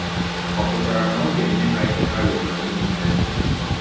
Ọ pụtara na ọ ga-enye ha ihe ha rịọrọ niile?